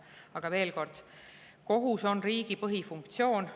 Aga veel kord, kohus riigi põhifunktsiooni.